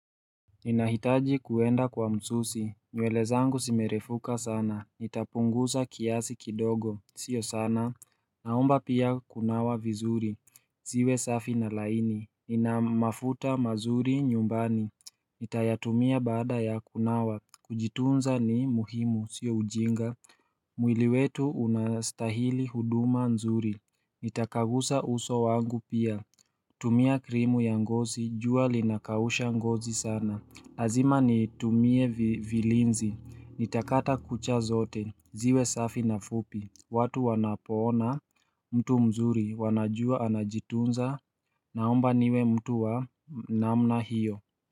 Ninahitaji kuenda kwa msusi, nywele zangu zimerefuka sana, nitapunguza kiasi kidogo, sio sana Naomba pia kunawa vizuri, ziwe safi na laini, nina mafuta mazuri nyumbani Nitayatumia baada ya kunawa, kujitunza ni muhimu, sio ujinga mwili wetu unastahili huduma nzuri, nitakagusa uso wangu pia tumia krimu ya ngozi, jua linakausha ngozi sana. Lazima nitumie vilinzi, nitakata kucha zote, ziwe safi na fupi, watu wanapoona, mtu mzuri, wanajua anajitunza, naomba niwe mtu wa namna hiyo.